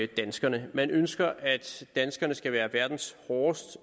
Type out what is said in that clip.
danskerne man ønsker at danskerne skal være verdens hårdest